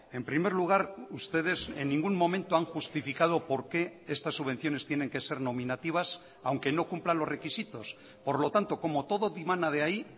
en primer lugar ustedes en ningún momento han justificado por qué estas subvenciones tienen que ser nominativas aunque no cumplan los requisitos por lo tanto como todo dimana de ahí